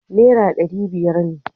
Nera dari biyar ne